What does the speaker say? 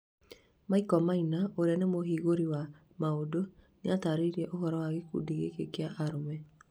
Michael Maina ũria nĩ mũhĩgĩriru wa maũndũ nĩatarĩria ũhoro wa gikundi gĩki kia arũme